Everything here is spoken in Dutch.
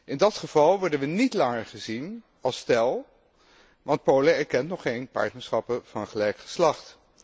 In dat geval worden we niet langer gezien als stel, want Polen erkent nog geen partnerschappen van gelijk geslacht.